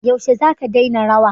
Yaushe zaka daina rawa?